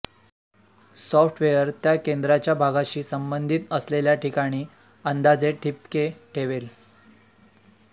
software त्या केंद्राच्या भागाशी संबंधित असलेल्या ठिकाणी अंदाजे ठिपके ठेवेल